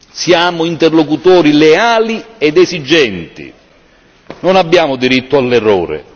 Siamo interlocutori leali ed esigenti, non abbiamo diritto all'errore.